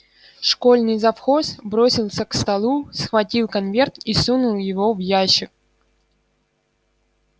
школьный завхоз бросился к столу схватил конверт и сунул его в ящик